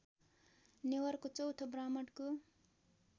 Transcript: नेवारको चौथो ब्राह्मणको